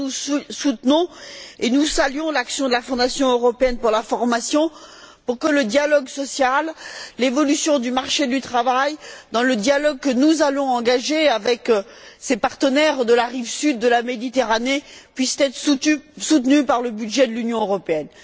Nous soutenons et nous saluons l'action de la Fondation européenne pour la formation qui vise à ce que le dialogue social et l'évolution du marché du travail, dans le dialogue que nous allons engager avec ces partenaires de la rive sud de la Méditerranée, puissent être soutenus par le budget de l'Union européenne.